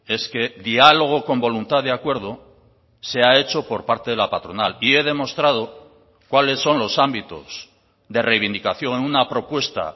es que diálogo con voluntad de acuerdo se ha hecho por parte de la patronal y he demostrado cuáles son los ámbitos de reivindicación en una propuesta